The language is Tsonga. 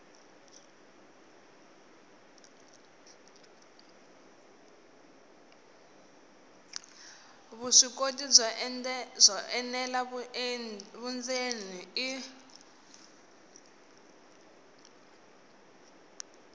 vuswikoti byo enela vundzeni i